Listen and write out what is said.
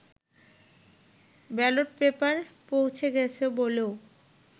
ballot paper পৌঁছে গেছে বলেও